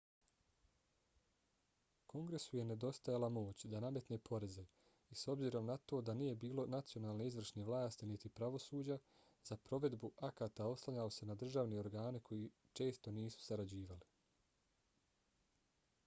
kongresu je nedostajala moć da nametne poreze i s obzirom na to da nije bilo nacionalne izvršne vlasti niti pravosuđa za provedbu akata oslanjao se na državne organe koji često nisu sarađivali